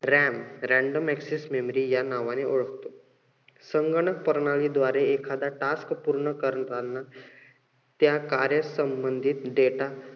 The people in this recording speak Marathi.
RAMrandom access memory या नावाने ओळखतो. संगणक प्रणाली द्वारे एखादा task पूर्ण करण्याला त्या कार्य संबंधित data